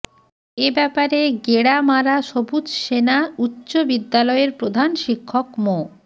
এ ব্যাপারে গেড়ামারা সবুজ সেনা উচ্চ বিদ্যালয়ের প্রধান শিক্ষক মো